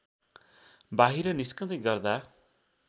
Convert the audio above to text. बाहिर निस्कँदै गर्दा